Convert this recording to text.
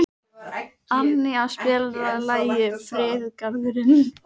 Annía, spilaðu lagið „Friðargarðurinn“.